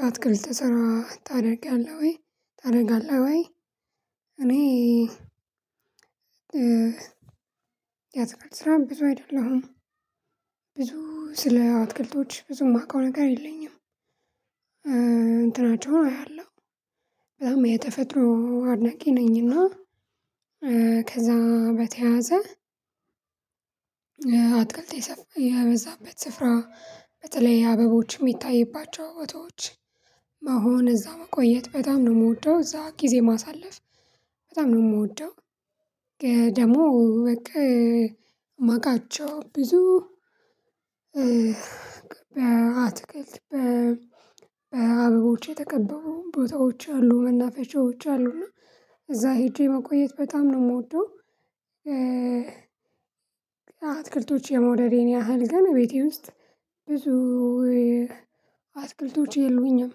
ያትክልት ስራ ታደርጋለህ ወይ ታደርጋለህ ወይ? እኔ ያትክል ስራ ብዙ አይደለሁም አይደለም ብዙ ስለ አትክልቶች ብዙ የማውቀው ነገር የለኝም። እንትናቸውን አያለሁ በጣም የተፈጥሮ አድናቂ ነኝና። ከዛ በተያያዘ አትክልት የበዛበት ስፍራ በተለይ አበቦች የሚታይባቸው ቦታዎች መሆን እዛ መቆየት በጣም ነው የምወደው እዛ ጊዜ ማሳለፍ በጣም ነው የምወደው። ደግሞ በቃ የማውቃቸው ብዙ በአትክልት በአበቦቼ የተከበቡ ቦታዎች አሉ መናፈሻዎች አሉ እና እዛ ሄጄ መቆየት በጣም ነው የምወደው። አትክልቶች የመውደዴን ያህል ግን ቤቴ ውስጥ ብዙ አትክልቶች የሉኝም።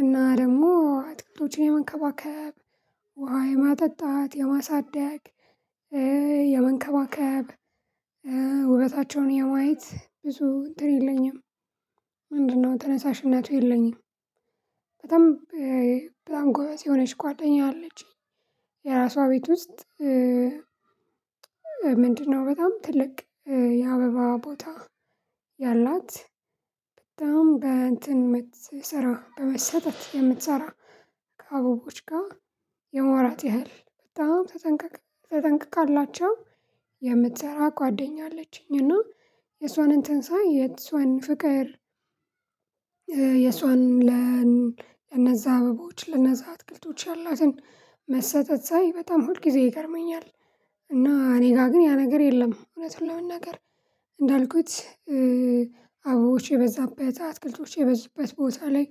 እና ደግሞ አትክልቶችን የመከባከብ ውሃ የማጠጣት የማሳደግ የመንከባከብ ወበታቸውን የማየት ብዙ እንትን የለኝም። ምንድነው ተነሳሽነቱ የለኝም። በጣም በጣም ጎበዝ የሆነች ጓደኛ አለችኝ የራሷ ቤት ውስጥ ምንድነው? በጣም ትልቅ የአበባ ቦታ ያላት በጣም በእንትን የምትሰራ በመሰጠት የምትሰራ ከአበቦች ጋር የመዋራት ያህል በጣም ተጠንቀቅ ተጠንቀቃላቸው የምትሰራ ጓደኛ አለችኝ። እና የሷንን ትንሳኤ የሷን ፍቅር የሷን ለነዛ አበባዎች ለነዛ አትክልቶች ያላትን መሰጠት ሳይ በጣም ሁል ጊዜ ይገርመኛል። እና እኔ ጋር ግን ያ ነገር የለም። እውነት ለመናገር እንዳልኩት አቦቼ የበዛበት አትክልቶች የበዙበት ቦታ ላይ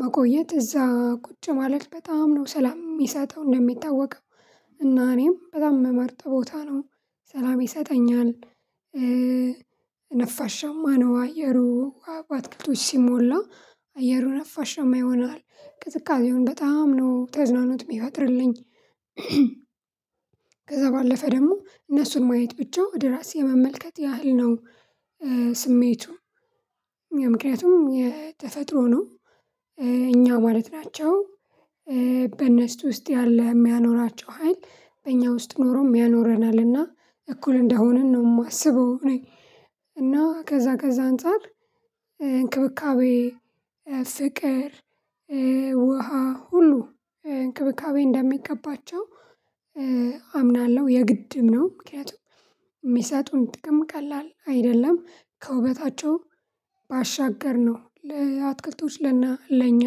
መቆየት እዛ ቁጭ ማለት በጣም ነው ሰላም የሚሰጠው እንደሚታወቀው እና እኔም በጣም የምመርጠው ቦታ ነው ሰላም ይሰጠኛል ይጠኛል። ነፋሻማ ነው አየሩ በአትክቶች ሲሞላ አየሩ ነፋሻማ ይሆናል ቅዝቃዜውን በጣም ነው ተዝናኖት የሚፈጥርልኝ። ከዛ ባለፈ ደግሞ እነሱን ማየት ብቻ ወደ ራሴ የመመልከት ያህል ነው። ስሜቱ ምክንያቱም የተፈጥሮ ነው። እኛ ማለት ናቸው በነስቱ ውስጥ ያለ የሚያኖራቸው ሀይል በእኛ ውስጥ ኖሮ የሚያኖረናልና እኩል እንደሆንን ነው የማስበው እኔ። እና ከዛ ከዛ አንፃር እንክብካቤ ፍቅር ውሃ ሁሉ እንክብካቤ እንደሚገባቸው አምናለሁ የግድም ነው ምክንያቱም የሚሰጡን ጥቅም ቀላል አይደለም። ከውበታቸው ባሻገርነው ለአትክልቶች ለእና ለእኛ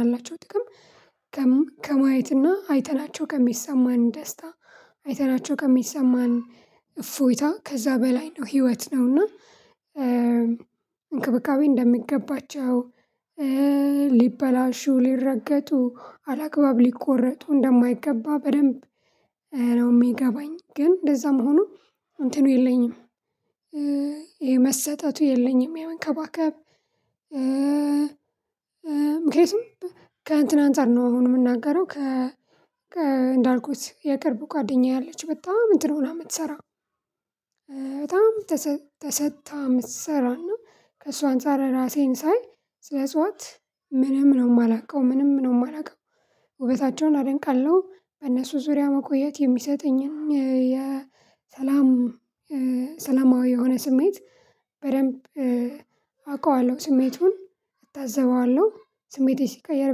ያላቸው ጥቅም ከማየት እና አይተናቸው ከሚሰማን ደስታ አይተናቸው ከሚሰማን እፎይታ ከዛ በላይ ነው ህይወት ነው እና። እንክብካቤ እንደሚገባቸው ሊበላሹ ሊረገጡ አላግባብ ሊቆረጡ እንደማይገባ በደንብ ነው የሚገባኝ ግን እንደዛም ሆኖ እንትኑ የለኝም። የመሰጠቱ የለኝም የመከባከብ። ምክንያቱም ከእንትን አንፃር ነው አሁን የምናገረው ከ እንዳልኩት የቅርብ ጓደኛየ አለች በጣም እንትን ሆና የምትሰራ። በጣም ተሰጥታ የምትሰራና ከእሷ አንፃር ራሴን ሳይ ስለጽዋት ምንም ነው የማላውቀው ምንም ነው የማላውቀው። ውበታቸውን አደንቃለሁ በእነሱ ዙሪያ መቆየት የሚሰጠኝን የሰላም ሰላማዊ የሆነ ስሜት በደንብ አውቀዋለሁ ስሜቱን እታዘበዋለሁ ስሜቴ ሲቀየር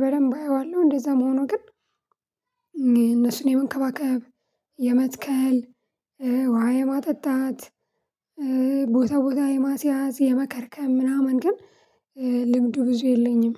በደንብ አየዋለሁ እንደዛ መሆኑ ግን። የመንከባከብ የመትከል ውሃ የማጠጣት ቦታ ቦታ የማስያዝ የመከርከም ምናምን ግን ልምዱ ብዙ የለኝም።